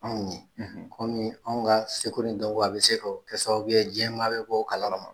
Anw ye anw ye anw ka seko ni dɔn a bɛ se k'o sababu ye diɲɛmaa bɛ bɔ o kalama